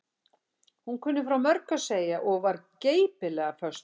Hún kunni frá mörgu að segja og var geipilega föst fyrir.